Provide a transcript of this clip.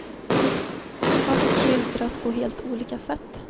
Fast skildrat på helt olika sätt.